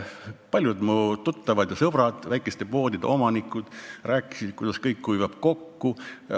Paljud mu tuttavad ja sõbrad, väikeste poodide omanikud rääkisid, kuidas kõik kuivab kokku.